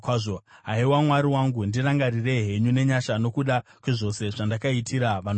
Haiwa Mwari wangu, ndirangarirei henyu nenyasha, nokuda kwezvose zvandakaitira vanhu ava.